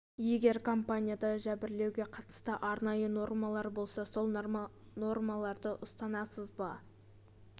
егер компанияда жәбірлеуге қатысты арнайы нормалар болса сол нормаларды ұстанасыз ба